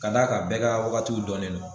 Ka d'a kan bɛɛ ka wagatiw dɔnnen don